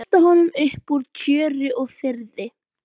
Velta honum upp úr tjöru og fiðri!